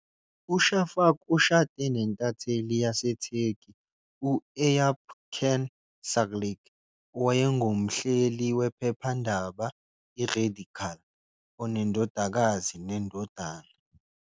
UShafak ushade nentatheli yaseTurkey u- Eyüp Can Sağlık, owayengumhleli wephephandaba "iRadikal", onendodakazi nendodana.